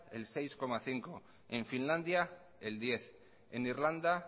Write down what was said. el seis coma cinco por ciento en finlandia el diez por ciento en irlanda